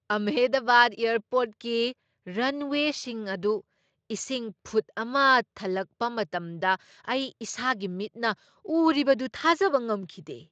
ꯑꯍꯃꯗꯕꯥꯗ ꯑꯦꯌꯔꯄꯣꯔꯠꯀꯤ ꯔꯟꯋꯦꯁꯤꯡ ꯑꯗꯨ ꯏꯁꯤꯡ ꯐꯨꯠ ꯑꯃ ꯊꯜꯂꯛꯄ ꯃꯇꯝꯗ ꯑꯩ ꯏꯁꯥꯒꯤ ꯃꯤꯠꯅ ꯎꯔꯤꯕꯗꯨ ꯊꯥꯖꯕ ꯉꯝꯈꯤꯗꯦ ꯫